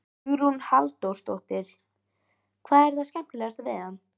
Hugrún Halldórsdóttir: Hvað er það skemmtilegasta við hann?